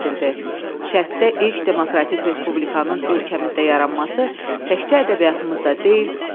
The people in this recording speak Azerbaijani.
Cəmi 23 ay fəaliyyət göstərən milli dövlətimiz vətənimizin tarixində silinməz izlər qoyub, müstəsna rol oynayıb.